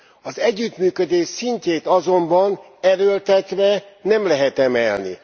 Az együttműködés szintjét azonban erőltetve nem lehet emelni.